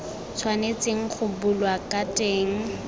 tshwanetseng go bulwa ka teng